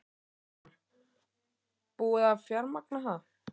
Jóhann: Búið að fjármagna það?